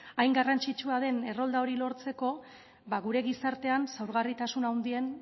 hain garrantzitsua den errolda hori lortzeko ba gure gizartean xahugarritasun handien